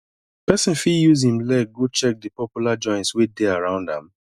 person fit use im leg go check di popular joints wey dey around am